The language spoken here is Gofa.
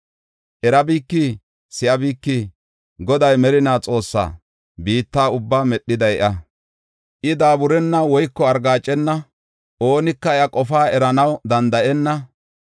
Erabikii? Si7abikii? Goday merina Xoossa; biitta ubbaa medhiday iya. I daaburenna; woyko argaacena; oonika iya qofaa eranaw danda7ena.